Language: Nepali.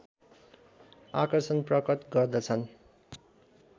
आकर्षण प्रकट गर्दछन्